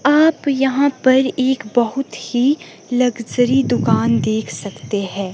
आप यहां पर एक बहोत ही लग्जरी दुकान दे सकते है।